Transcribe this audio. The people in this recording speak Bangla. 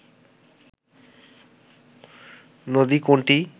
নদী কোনটি